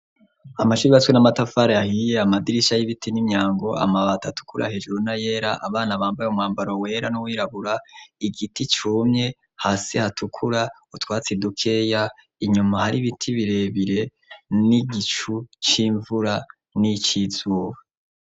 Amashure yubatswe n'amatafara ahiye, amadirisha y'ibiti n'imyango amabati atukura hejuru nayera, abana bambaye umwambaro wera n'uwirabura, igiti cumye hasi hatukura utwatsi dukeya inyuma hari ibiti birebire n'igicu c'imvura n'icizuba.